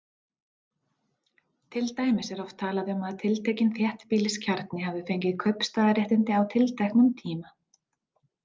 Til dæmis er oft talað um að tiltekinn þéttbýliskjarni hafi fengið kaupstaðarréttindi á tilteknum tíma.